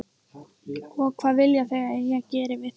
Og hvað vilja þau að ég geri fyrir þau?